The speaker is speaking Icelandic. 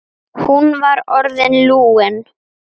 Hún var orðin lúin.